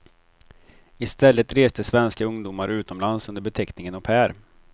I stället reste svenska ungdomar utomlands under beteckningen au pair.